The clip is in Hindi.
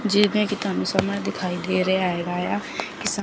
दिखाई दे रहा है।